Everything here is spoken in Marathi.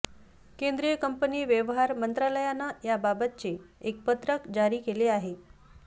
केंद्रीय कंपनी व्यवहार मंत्रालयानं याबाबतचे एक पत्रक जारी केले आहे